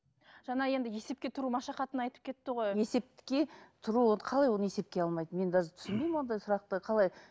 жаңа енді есепке тұру машақатын айтып кетті ғой есепке тұру қалай оны есепке алмайды мен даже түсінбеймін ондай сұрақты қалай